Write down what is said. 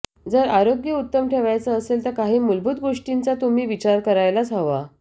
जर आरोग्य उत्तम ठेवायचं असेल तर काही मूलभूत गोष्टींचा तुम्ही विचार करायलाच हवा